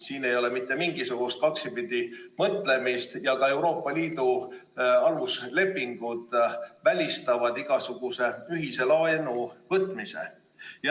Siin ei ole mitte mingisugust kaksipidi mõtlemist ja ka Euroopa Liidu aluslepingud välistavad igasuguse ühise laenu võtmise.